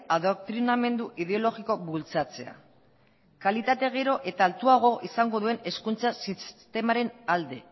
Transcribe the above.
adoktrinamendu ideologikoa bultzatzea kalitatea gero eta altuagoa izango duen hezkuntza sistemaren alde